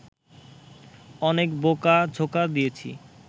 অনেক বোকা-ঝোকা দিয়েছি